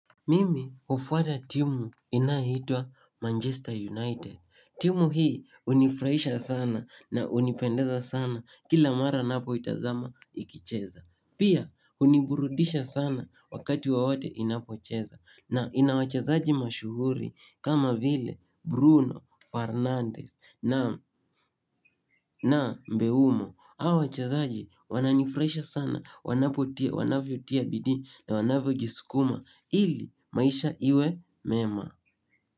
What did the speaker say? Mimi hufuata timu inayoitwa Manchester United. Timu hii hunifuraisha sana na hunipendeza sana kila mara ninapoitazama ikicheza. Pia huniburudisha sana wakati wowote inapocheza. Na ina wachezaji mashuhuri kama vile Bruno Fernandez na Mbeumo. Hao wachazaji wananifurahisha sana wanapotia, wanavyotia bidii na wanavyojisukuma ili maisha iwe mema.